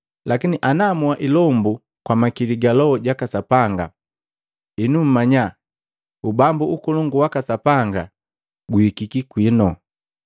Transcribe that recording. Lakini ana moa ilombu kwa makili ga Loho jaka Sapanga enu mmanya Ubambu ukolongu waka Sapanga guhikiki kwinu.”